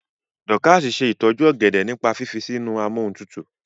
Dorcas se itoju ògèdè nípa fífi sínú Amóhuntutù.